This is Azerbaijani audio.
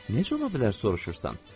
Necə ola bilər soruşursan?